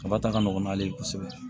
Kaba ta ka nɔgɔn n'ale ye kosɛbɛ